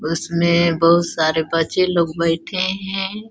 उसमें बहुत सारे बच्चे लोग बैठे हैं।